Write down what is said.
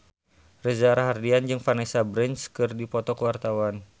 Reza Rahardian jeung Vanessa Branch keur dipoto ku wartawan